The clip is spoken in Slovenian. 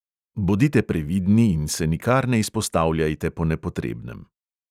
Bodite previdni in se nikar ne izpostavljajte po nepotrebnem.